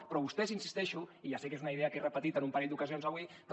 però vostès hi insisteixo i ja sé que és una idea que he repetit en un parell d’ocasions avui però